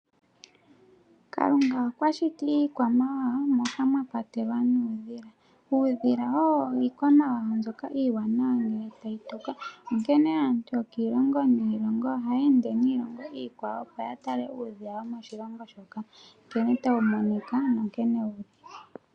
Kalunga okwa shiti iikwamawawa moka mwa kwatelwa nuudhila. Uudhila owo iikwamawawa mbyoka iiwanawa ngele tayi tuka, onkene aantu yokiilongo niilongo ohaya ende niilongo iikwawo, opo ya tale uudhila womoshilongo shoka nkene tawu monika nonkene wu li.